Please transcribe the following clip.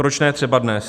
Proč ne třeba dnes?